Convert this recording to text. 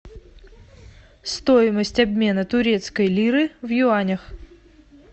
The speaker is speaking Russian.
стоимость обмена турецкой лиры в юанях